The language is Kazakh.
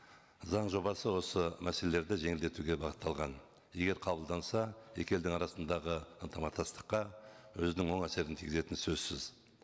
заң жобасы осы мәселелерді жеңілдетуге бағытталған егер қабылданса екі елдің арасындағы ынтымақтастыққа өзінің оң әсерін тигізетіні сөзсіз